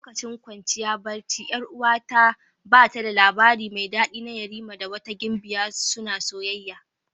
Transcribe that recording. Lokacin kwanciya barci 'Yar'uwata ta ba da labari mai dadi na yerima da wata gimbiya suna soyayya.